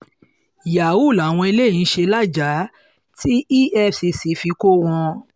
yahoo làwọn eléyìí ń ṣe lajah tí efcc fi kọ́ wọn